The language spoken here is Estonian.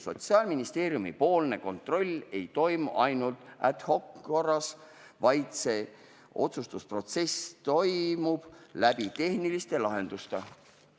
Sotsiaalministeeriumipoolne kontroll ei toimi ainult ad hoc korras, vaid see otsustusprotsess toimub läbi tehniliste lahenduste.